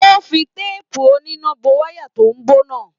O fí teepu oníná bó wayà tó bó náà.